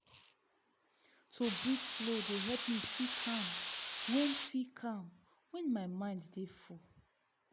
to breathe slow dey help me feel calm when feel calm when my mind dey full.